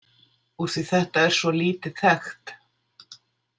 Úr því þetta er svo lítið þekkt?